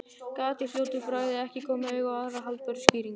Gat í fljótu bragði ekki komið auga á aðra haldbæra skýringu.